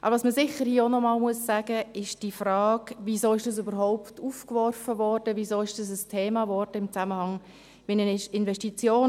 Was man hier sicher auch noch einmal erwähnen muss, ist die Frage, wieso das überhaupt aufgeworfen wurde, weshalb das ein Thema wurde in Zusammenhang mit den Investitionen.